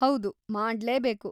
ಹೌದು, ಮಾಡ್ಲೇಬೇಕು.